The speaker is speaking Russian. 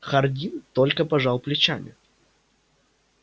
хардин только пожал плечами